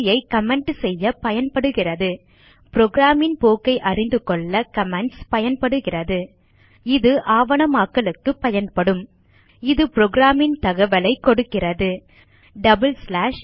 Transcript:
வரியை கமெண்ட் செய்ய பயன்படுகிறது புரோகிராம் ன் போக்கை அறிந்துகொள்ள கமெண்ட்ஸ் பயன்படுகிறது இது ஆவணமாக்கலுக்கு பயன்படும் இது புரோகிராம் ன் தகவலைக் கொடுக்கிறது டபிள் ஸ்லாஷ்